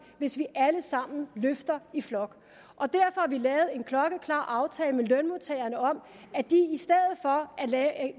hvis vi alle sammen løfter i flok og derfor at en klokkeklar aftale med lønmodtagerne om at